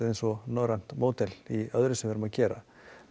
eins og norrænt módel í öðru sem við erum að gera